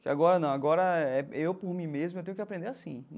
Que agora, não, agora é eu por mim mesmo, eu tenho que aprender assim.